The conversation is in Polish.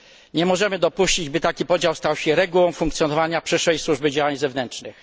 Nie możemy dopuścić, by taki podział stał się regułą funkcjonowania przyszłej Służby Działań Zewnętrznych.